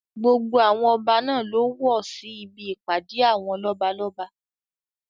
Gbogbo àwọn ọba náà ló wọ sí ibi ìpàdé àwọn lọ́balọ́ba.